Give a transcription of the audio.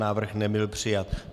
Návrh nebyl přijat.